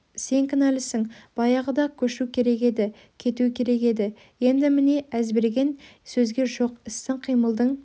сен кінәлісің баяғыда-ақ көшу керек еді кету керек еді енді міне әзберген сөзге жоқ істің қимылдың